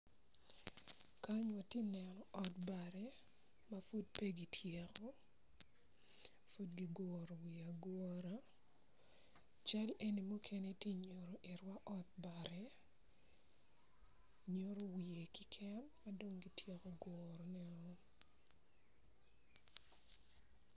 Kany atye ka neno ot bati ma pud pe kityeko kun kiguru wiye agura cal eni muken tye ka nyuto ot bati ma dong kityeko guruneo.